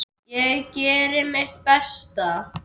Ég geri mitt besta.